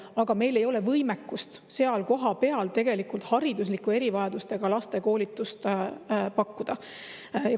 Aga meil ei ole võimekust seal kohapeal tegelikult haridusliku erivajadustega laste koolitust pakkuda.